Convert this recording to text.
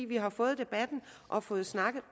vi har fået debatten og fået snakket